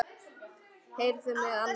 Heyrðu mig annars!